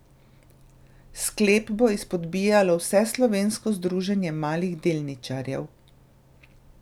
Sklep bo izpodbijalo Vseslovensko združenje malih delničarjev.